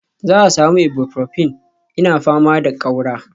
Za a sami Ibuprofin, ina fama da ƙaura